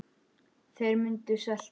Þeir munu svelta.